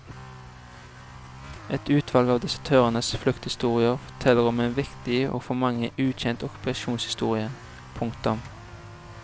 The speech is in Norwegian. Et utvalg av desertørenes flukthistorier forteller om en viktig og for mange ukjent okkupasjonshistorie. punktum